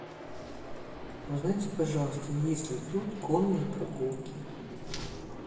узнайте пожалуйста есть ли тут конные прогулки